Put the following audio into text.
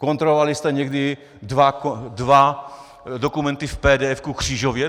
Kontrolovali jste někdy dva dokumenty v PDF křížově?